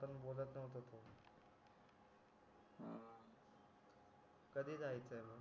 कधी जायचा आहे मग